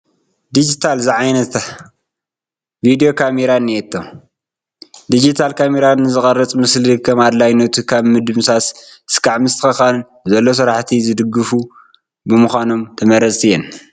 ዲጂታል ዝዓይነታ ቪዲዮ ካሜራ እኔቶ፡፡ ዲጂታል ካሜራ ንዝቕረፅ ምስሊ ከም ኣድላይነቱ ካብ ምድምሳስ እስካብ ምስትኽኻል ንዘሎ ስራሕቲ ዝድግፋ ብምዃነን ተመረፅቲ እየን፡፡